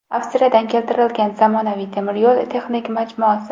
Avstriyadan keltirilgan zamonaviy temir yo‘l texnik majmuasi.